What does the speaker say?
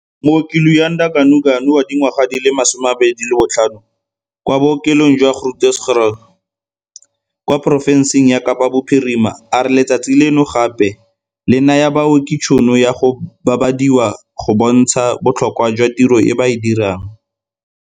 Mooki Luyanda Ganuganu wa dingwaga di le 25, kwa bookelong jwa Groote Schuur kwa porofenseng ya Kapa Bophirima, a re letsatsi leno gape le naya baoki tšhono ya go babadiwa go bontsha botlhokwa jwa tiro e ba e dirang.